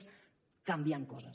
és canviant coses